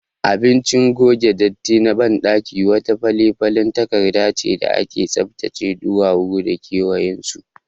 Abinci gogen datti na baɗaki wata falefalen takardace da ake tsaftace ɗuwawu da kewayensu